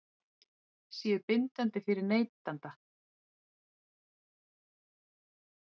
séu bindandi fyrir neytanda?